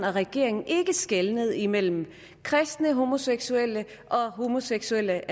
og regeringen ikke skelnede imellem kristne homoseksuelle og homoseksuelle